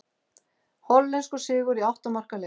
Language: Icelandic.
Hollenskur sigur í átta marka leik